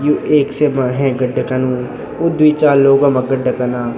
यु एक सेमा हेंक गड्डा कन वू दुई चार लोग वमा गड्डा कना।